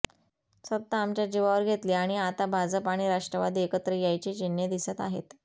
सत्ता आमच्या जीवावर घेतली आणि आता भाजप आणि राष्ट्रवादी एकत्र यायची चिन्हे दिसत आहेत